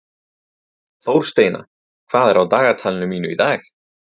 Þórsteina, hvað er á dagatalinu mínu í dag?